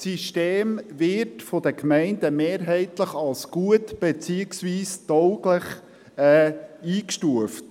Das System wird von den Gemeinden mehrheitlich als gut beziehungsweise als tauglich eingestuft.